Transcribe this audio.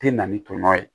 Te na ni tɔmɔ ye